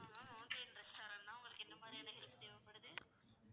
ஆமா ma'am mountain restaurant தான் உங்களுக்கு என்ன மாதிரியான help தேவைப்படுது